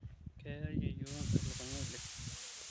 keya yeyio elukunya oleng